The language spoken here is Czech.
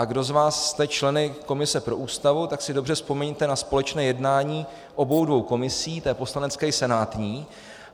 A kdo z vás jste členy komise pro Ústavu, tak si dobře vzpomeňte na společné jednání obou dvou komisí, té poslanecké i senátní.